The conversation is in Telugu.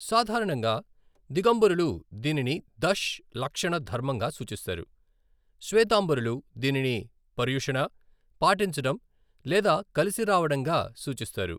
సాధారణంగా, దిగంబరులు దీనిని దష్ లక్షణ ధర్మంగా సూచిస్తారు, స్వేతాంబరులు దీనిని పర్యుషణ, పాటించడం లేదా కలిసి రావడంగా సూచిస్తారు.